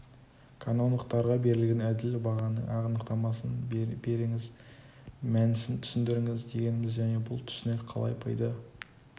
конондықтарға берілген әділ бағаның анықтамасын беріңіз мәнісін түсіндіріңіз дегеніміз және бұл түсінік қалай пайда